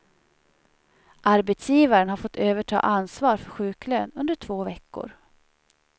Arbetsgivaren har fått överta ansvar för sjuklön under två veckor.